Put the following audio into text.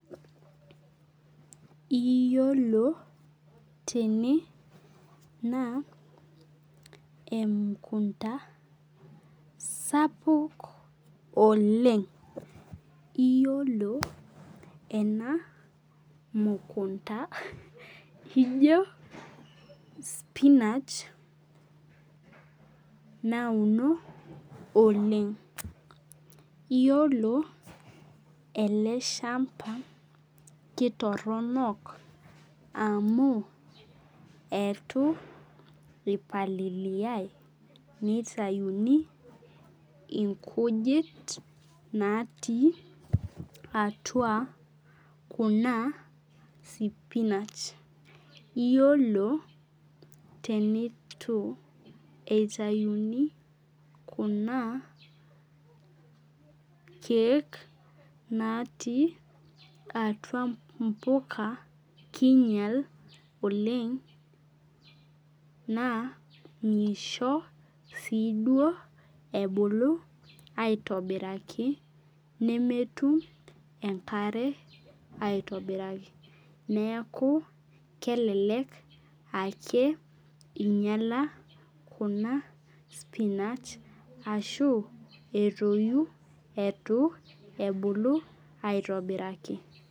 Iyolo tene na emukunda sapuk oleng iyolo enamukunda ijo spinach nauno oleng iyolo eleshamba ketoronok amu eitu ipalilia nitauni inkujit natii atua kuna sipinach yiolo tenitu itauni kuna keek natii atua mpuka kinyel oleng na misho siduo ebulu aitobiraki nemetum enkare aitobiraki neaku kelelej ake inyala kuna spinacha ashu etoyu ebulu aitobiraki.